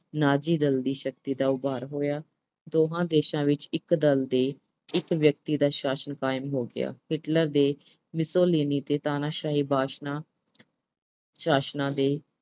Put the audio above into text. ਨਾਜ਼ੀ ਦਲ ਦੀ ਸ਼ਕਤੀ ਦਾ ਉਭਾਰ ਹੋਇਆ। ਦੋਹਾਂ ਦੇਸ਼ਾਂ ਵਿੱਚ ਇੱਕ ਦਲ ਦੇ ਇੱਕ ਵਿਅਕਤੀ ਦਾ ਸ਼ਾਸਨ ਕਾਇਮ ਹੋ ਗਿਆ। Hitler ਦੇ Mussolini ਤੇ ਤਾਨਾਸ਼ਾਹੀ ਵਾਸ਼ਨਾ, ਸ਼ਾਸਨਾਂ ਨੇ